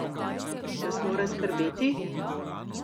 Nas mora skrbeti?